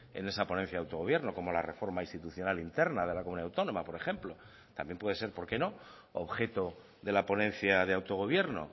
en esa ponencia de autogobierno como la reforma institucional interna de la comunidad autónoma por ejemplo también puede ser por qué no objeto de la ponencia de autogobierno